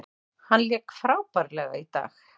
Hann lék frábærlega í dag.